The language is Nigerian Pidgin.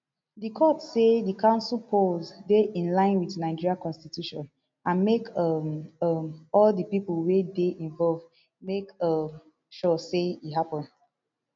di court say di council polls dey in line wit nigeria constitution and make um um all di pipo wey dey involved make um sure say e happun